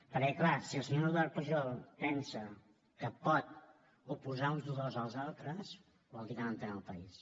perquè clar si el senyor eduard pujol pensa que pot oposar uns dolors als altres vol dir que no entén el país